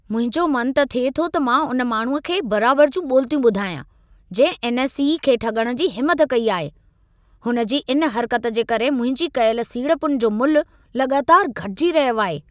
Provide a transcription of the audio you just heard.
मुंहिंजो मन त थिए थो त मां उन माण्हूअ खे बराबर जूं ॿोलितियूं ॿुधायां, जंहिं एन.एस.ई. खे ठॻण जी हिमत कई आहे। हुन जी इन हरक़त जे करे मुंहिंजी कयल सीड़पुनि जो मुल्ह लॻातार घटिजी रहियो आहे।